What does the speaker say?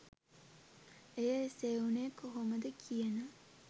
එය එසේ වුණේ කොහොමද කියන